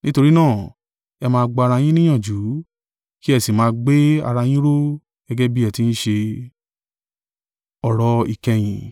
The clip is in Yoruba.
Nítorí náà, ẹ máa gba ara yín níyànjú, kí ẹ sì máa gbé ara yín ró, gẹ́gẹ́ bí ẹ ti ń ṣe.